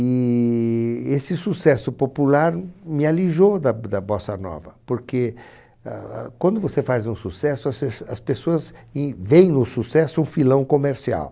E esse sucesso popular me alijou da b da Bossa Nova, porque ah ah quando você faz um sucesso, as f as pessoas em veem no sucesso um filão comercial.